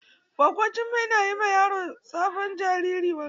Gwaggo Jummai na yi ma sabon jariri wanka.